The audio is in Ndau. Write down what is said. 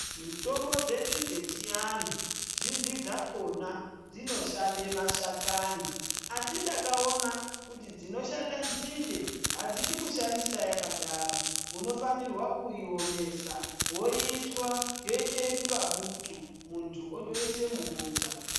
Mitombo dzedu dzechiantu zhinji dzakhona dzinoshande mashakani. Asi ndakaona kuti dzinoshanda nzinde hadzidi kushandisa yakadaro. Unofanirwa kuiomesa, woitwa yoita kunga butu muntu otoisa mubota.